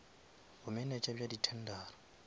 bomenetša bja di tendera